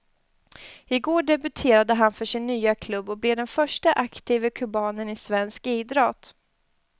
I går debuterade han för sin nya klubb och blev den förste aktive kubanen i svensk idrott.